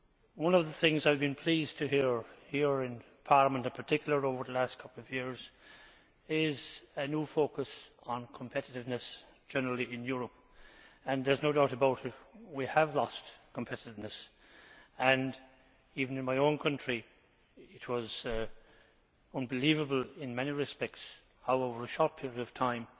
One of the things I have been pleased to hear here in Parliament in particular over the last couple of years is a new focus on competitiveness generally in Europe. There is no doubt about it, we have lost competitiveness. Even in my own country it was unbelievable in many respects how over a short period of time